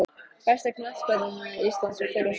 Besti knattspyrnumaður íslands fyrr og síðar?